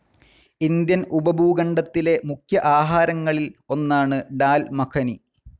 Indian ഉപഭൂഖണ്ഡത്തിലെ മുഖ്യ ആഹാരങ്ങളിൽ ഒന്നാണ് ഡാൽ മഖനി.